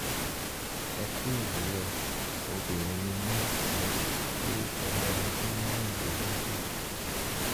ẹ kú òwúrọ̀ obìnrin ni mí mo sì ti pé ọmọ ọdún márùn-dín-lógójì